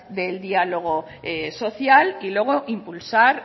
del diálogo social y luego impulsar